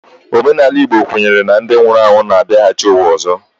Omenala Igbo kwenyere na ndị nwụrụ anwụ na-abiaghachi uwa ọzọ